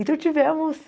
Então tivemos...